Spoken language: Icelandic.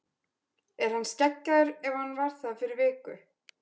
Er hann skeggjaður ef hann var það fyrir viku?